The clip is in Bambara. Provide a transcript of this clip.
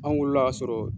An wolola kasɔrɔ